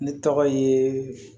Ne tɔgɔ ye